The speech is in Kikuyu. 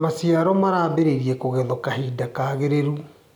Maciaro marambirie kũgethwo kahinda kagĩrĩru.